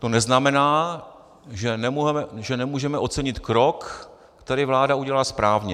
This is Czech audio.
To neznamená, že nemůžeme ocenit krok, který vláda udělá správně.